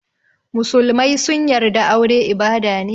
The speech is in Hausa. Musulmai sun yarda aure ibada ne.